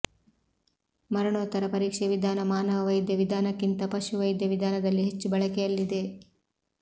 ಮರಣೋತ್ತರ ಪರೀಕ್ಷೆ ವಿಧಾನ ಮಾನವ ವೈದ್ಯ ವಿಧಾನಕ್ಕಿಂತ ಪಶು ವೈದ್ಯ ವಿಧಾನದಲ್ಲಿ ಹೆಚ್ಚು ಬಳಕೆಯಲ್ಲಿದೆ